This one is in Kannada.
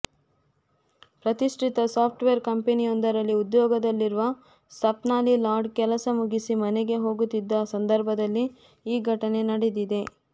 ಪ್ರತಿಷ್ಠಿತ ಸಾಫ್ಟವೇರ್ ಕಂಪನಿಯೊಂದರಲ್ಲಿ ಉದ್ಯೋಗದಲ್ಲಿರುವ ಸ್ವಪ್ನಾಲಿ ಲಾಡ್ ಕೆಲಸ ಮುಗಿಸಿ ಮನೆಗೆ ಹೋಗುತ್ತಿದ್ದ ಸಂದರ್ಭದಲ್ಲಿ ಈ ಘಟನೆ ನಡೆದಿದೆ